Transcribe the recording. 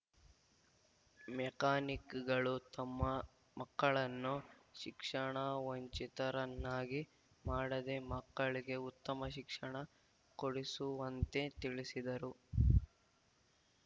ಮೆಕ್ಯಾನಿಕ್‌ಗಳು ತಮ್ಮ ಮಕ್ಕಳನ್ನು ಶಿಕ್ಷಣ ವಂಚಿತರನ್ನಾಗಿ ಮಾಡದೇ ಮಕ್ಕಳಿಗೆ ಉತ್ತಮ ಶಿಕ್ಷಣ ಕೊಡಿಸುವಂತೆ ತಿಳಿಸಿದರು